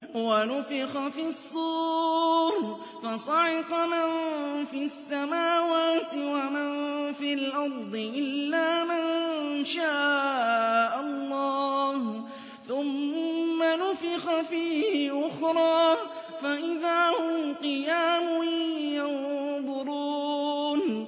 وَنُفِخَ فِي الصُّورِ فَصَعِقَ مَن فِي السَّمَاوَاتِ وَمَن فِي الْأَرْضِ إِلَّا مَن شَاءَ اللَّهُ ۖ ثُمَّ نُفِخَ فِيهِ أُخْرَىٰ فَإِذَا هُمْ قِيَامٌ يَنظُرُونَ